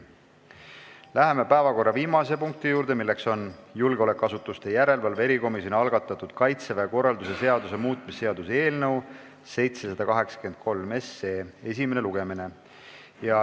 Läheme päevakorra viimase punkti juurde, milleks on julgeolekuasutuste järelevalve erikomisjoni algatatud Kaitseväe korralduse seaduse muutmise seaduse eelnõu esimene lugemine.